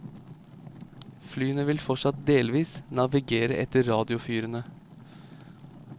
Flyene vil fortsatt delvis navigere etter radiofyrene.